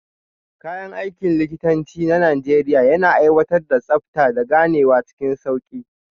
Kayan aikin likitanci na Najeriya yana aiwatar da tsabta, da ganewa cikin sauki.